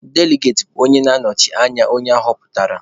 Deligati bụ onye na-anọchite anya onye aghọpụtara.